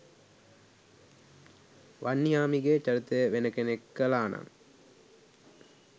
වන්නිහාමිගෙ චරිතය වෙන කෙනෙක් කළානං